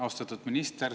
Austatud minister!